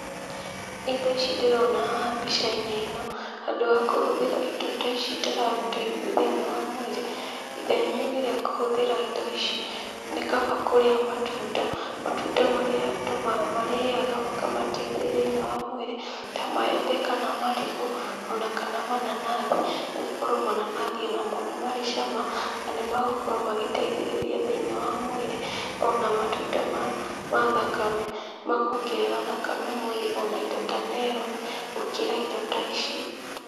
Indo ici ndĩrona haha mbica -inĩ ĩno, handũ ha kũhũthĩra indo ta ici itaragũteithia thĩiniĩ wa mwĩrĩ, ithenya-inĩ ríĩ kũhũthĩra indo ici, nĩkaba kũrĩa matunda, matunda marĩa ndũ marĩaga makamateithia thĩiniĩ wa mwĩrĩ ta maembe kana marigũ ona kana mananathi nĩgũkorwo mananathi onamo nĩmarĩ cama na nĩmegũkorwo magĩteithĩrĩria thĩiniĩ wa mwĩrĩ ona matunda ma thakame makongerera thakame mwĩrĩ ona indo ta meroni gũkĩra indo ta ici.